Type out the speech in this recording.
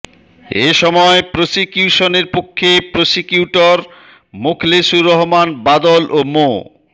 এ সময় প্রসিকিউশনের পক্ষে প্রসিকিউটর মোখলেসুর রহমান বাদল ও মো